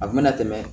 A kun mena tɛmɛ